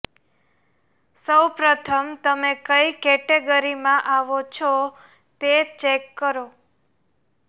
સૌ પ્રથમ તમે કઇ કેટેગરીમાં આવો છો તે ચેક કરો